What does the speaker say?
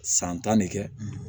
San tan de kɛ